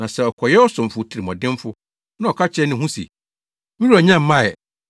Na sɛ ɔkɔyɛ ɔsomfo tirimuɔdenfo, na ɔka kyerɛ ne ho se, ‘Me Wura nnya mmae,’